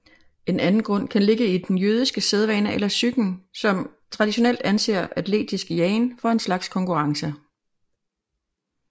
En anden grund kan ligge i den jødiske sædvane eller psyken som traditionelt anser atletisk jagen for en slags konkurrence